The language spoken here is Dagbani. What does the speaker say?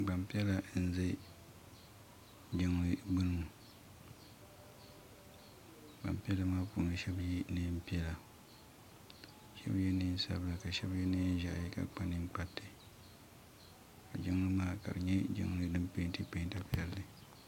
gbanpiɛlla n ʒɛ jinli gbani ŋɔ gbanpiɛlla puuni shɛba yɛ nɛpiɛlla ka shɛbi nɛnsabila ka shɛbi yɛ nɛnʒiɛhi ka shɛbi kpa nɛkparitɛ ka jinli maa nydin pɛntɛ pita piɛli